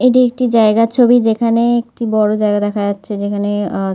এটি জায়গার ছবি যেখানে একটি বড়ো জায়গা দেখা যাচ্ছে যেখানে আঁ--